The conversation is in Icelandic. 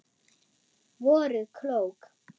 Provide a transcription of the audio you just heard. Voruð klók.